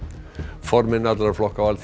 formenn allra flokka á Alþingi